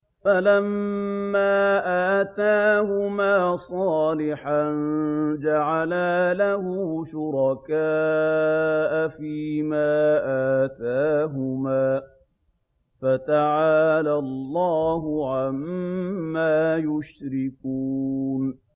فَلَمَّا آتَاهُمَا صَالِحًا جَعَلَا لَهُ شُرَكَاءَ فِيمَا آتَاهُمَا ۚ فَتَعَالَى اللَّهُ عَمَّا يُشْرِكُونَ